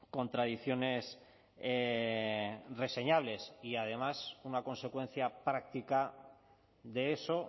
contradicciones reseñables y además una consecuencia práctica de eso